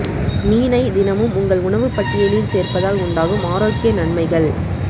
மீனை தினமும் உங்கள் உணவு பட்டியலில் சேர்ப்பதால் உண்டாகும் ஆரோக்கிய நன்மைகள்